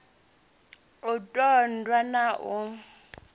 u ṱun ḓwa na u